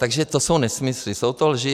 Takže to jsou nesmysly, jsou to lži.